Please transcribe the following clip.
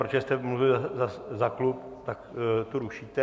protože jste mluvil za klub, tak to rušíte?